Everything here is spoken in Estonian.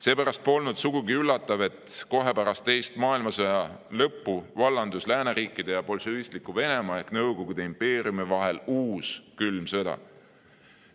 Seepärast polnud sugugi üllatav, et kohe pärast teise maailmasõja lõppu vallandus lääneriikide ja bolševistliku Venemaa ehk Nõukogude impeeriumi vahel uus külm sõda.